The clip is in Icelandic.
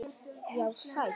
Já, sæll.